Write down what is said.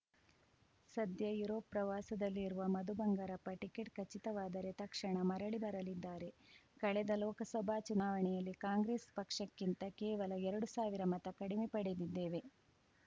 ಸಧ್ಯ ಯುರೋಪ್‌ ಪ್ರವಾಸದಲ್ಲಿ ಇರುವ ಮಧು ಬಂಗಾರಪ್ಪ ಟಿಕೆಟ್‌ ಖಚಿತವಾದರೆ ತಕ್ಷಣ ಮರಳಿ ಬರಲಿದ್ದಾರೆ ಕಳೆದ ಲೋಕಸಭಾ ಚುನಾವಣೆಯಲ್ಲಿ ಕಾಂಗ್ರೆಸ್‌ ಪಕ್ಷಕ್ಕಿಂತ ಕೇವಲ ಎರಡು ಸಾವಿರ ಮತ ಕಡಿಮೆ ಪಡೆದಿದ್ದೇವೆ